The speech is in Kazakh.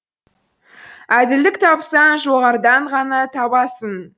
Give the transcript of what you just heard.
әділдік тапсаң жоғарыдан ғана табасың